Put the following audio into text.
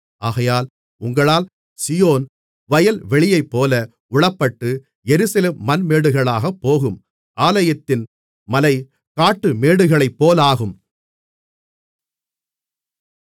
ஆகையால் உங்களால் சீயோன் வயல்வெளியைப்போல உழப்பட்டு எருசலேம் மண்மேடுகளாகப்போகும் ஆலயத்தின் மலை காட்டு மேடுகளைப்போலாகும்